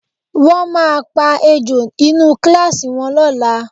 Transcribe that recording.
Wọ́n máa pa ejò inú kíláàsì wọn lọ́la